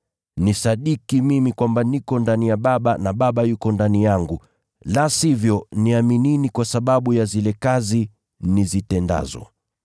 Nisadiki mimi kwamba niko ndani ya Baba na Baba yuko ndani yangu, la sivyo, niaminini kwa sababu ya zile kazi nizitendazo.